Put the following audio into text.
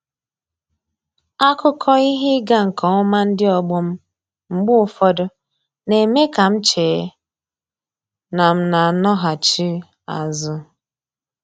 Akụkọ ihe ịga nke ọma ndị ọgbọ m mgbe ụfọdụ, na-eme ka m chee na m n'anọghachi azụ.